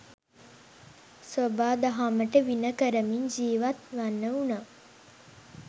සොබාදහමට විණ කරමින් ජීවත්වන්න වුණා.